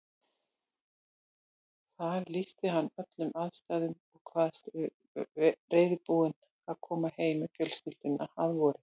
Þar lýsti hann öllum aðstæðum og kvaðst reiðubúinn að koma heim með fjölskylduna að vori.